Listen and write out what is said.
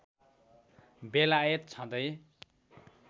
बेलायत छँदै